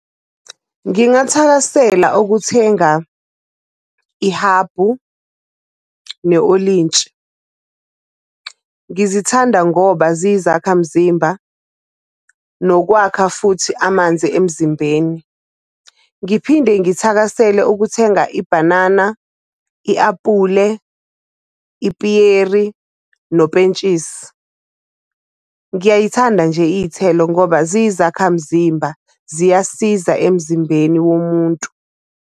Ngingathakasela ukuthenga ihabhu ne-olintshi. Ngizithanda ngoba ziyizakhamzimba, nokwakha futhi amanzi emzimbeni. Ngiphinde ngithakasele ukuthenga ibhanana, i-apule, ipiyeri, nopentshisi. Ngiyayithanda nje iy'thelo ngoba ziyi zakhamzimba, ziyasiza emzimbeni womuntu.